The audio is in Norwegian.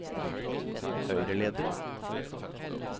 høyreleder